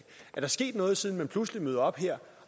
er der sket noget siden man pludselig møder op her